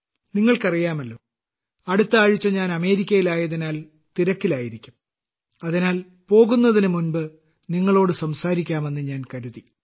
നിങ്ങൾക്കറിയാമല്ലോ അടുത്ത ആഴ്ച ഞാൻ അമേരിക്കയിൽ ആയതിനാൽ തിരക്കിലായിരിക്കും അതിനാൽ പോകുന്നതിന് മുമ്പ് നിങ്ങളോട് സംസാരിക്കാമെന്ന് ഞാൻ കരുതി